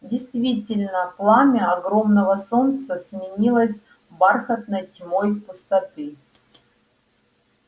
действительно пламя огромного солнца сменилось бархатной тьмой пустоты